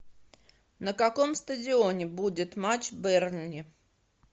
на каком стадионе будет матч бернли